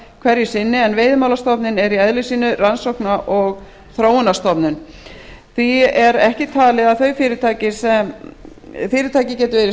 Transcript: hverju sinni en veiðimálastofnun er í eðli sínu rannsókna og þróunarstofnun því er ekki talið að þau fyrirtæki geti verið